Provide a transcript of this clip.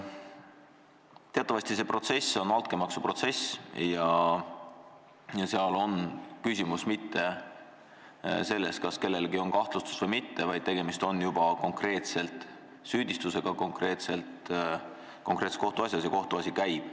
Teatavasti on see kohtuprotsess altkäemaksuprotsess ja seal ei ole küsimus mitte selles, kas kellelegi on kahtlustus esitatud või mitte, vaid tegemist on juba konkreetselt süüdistusega konkreetses kohtuasjas ja kohtuasi käib.